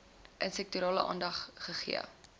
intersektoraal aandag gegee